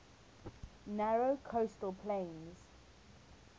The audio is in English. narrow coastal plain